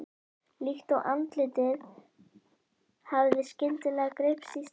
Líkt og andlitið hafi skyndilega greypst í stein.